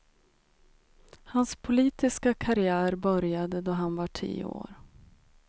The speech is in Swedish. Hans politiska karriär började då han var tio år.